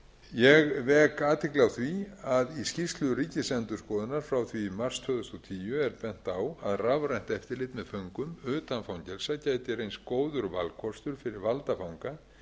ég vek athygli á því að í skýrslu ríkisendurskoðunar frá því í mars tvö þúsund og tíu er bent á að rafrænt eftirlit með föngum utan fangelsa gæti reynst góður valkostur fyrir valda fanga